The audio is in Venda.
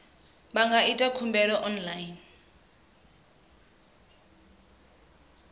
vha nga ita khumbelo online